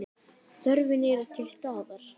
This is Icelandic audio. Þörfin er til staðar.